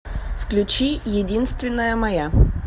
включи единственная моя